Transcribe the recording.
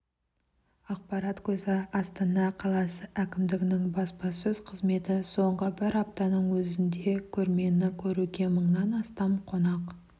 ақпарат көзі астана қаласы әкімдігінің баспасөз қызметі соңғы бір аптаның өзінде көрмені көруге мыңнан астам қонақ